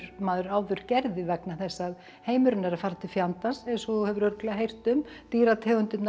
maður áður gerði vegna þess að heimurinn er að fara til fjandans eins og þú hefur örugglega heyrt um dýrategundirnar